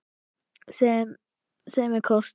Sem er kostur.